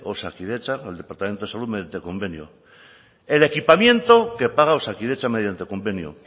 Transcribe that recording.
osakidetza el departamento de salud mediante convenio el equipamiento que paga osakidetza mediante convenio